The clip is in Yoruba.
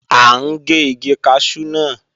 À ń gé igi kaṣú náà